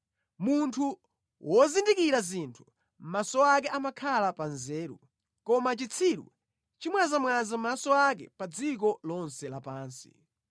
Munthu wozindikira zinthu, maso ake amakhala pa nzeru, koma chitsiru chimwazamwaza maso ake pa dziko lonse lapansi.